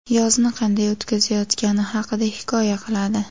yozni qanday o‘tkazayotgani haqida hikoya qiladi.